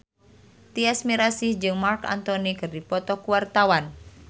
Tyas Mirasih jeung Marc Anthony keur dipoto ku wartawan